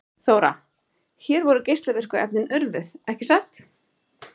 Þóra: Hér voru geislavirku efnin urðuð, ekki satt?